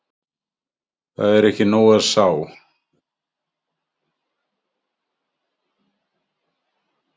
Það er ekki nóg að sá.